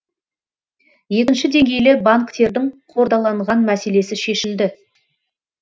екінші деңгейлі банктердің қордаланған мәселесі шешілді